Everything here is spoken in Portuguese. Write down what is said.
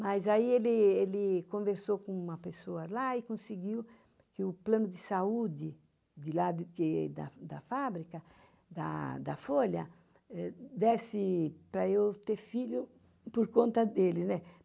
Mas aí ele conversou com uma pessoa lá e conseguiu que o plano de saúde de lá da fábrica, da Folha, desse para eu ter filho por conta dele, né?